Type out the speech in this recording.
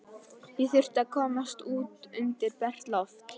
Ég þurfti að komast út undir bert loft.